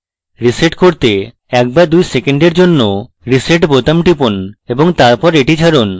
reset করতে 1 to 2 সেকেন্ডের জন্য reset বোতাম টিপুন এবং তারপর এটি ছাড়ুন